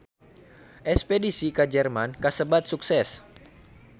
Espedisi ka Jerman kasebat sukses